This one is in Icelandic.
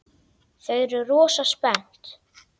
Þau eru rosa spennt.